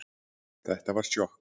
Þetta var sjokk